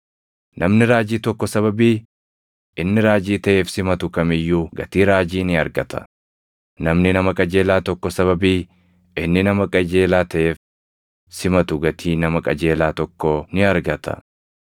Namni raajii tokko sababii inni raajii taʼeef simatu kam iyyuu gatii raajii ni argata; namni nama qajeelaa tokko sababii inni nama qajeelaa taʼeef simatu gatii nama qajeelaa tokkoo ni argata.